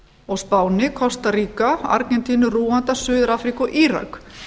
og spáni ásta draga argentínu rúanda suður afríku og írak